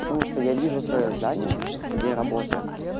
потому что я вижу своё здание где я работаю